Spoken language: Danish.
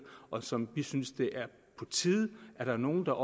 og som vi synes det er på tide at der er nogen der